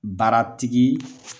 Baara tigi